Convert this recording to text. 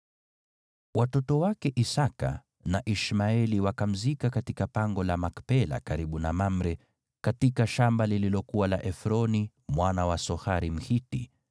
Watoto wake Isaki na Ishmaeli wakamzika katika pango la Makpela karibu na Mamre, katika shamba lililokuwa la Efroni mwana wa Sohari Mhiti,